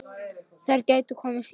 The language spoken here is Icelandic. Þær gætu komið síðar.